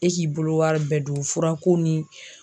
E k'i bolo wari bɛɛ don furako ni